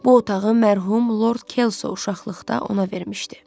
Bu otağı mərhum Lord Kelso uşaqlıqda ona vermişdi.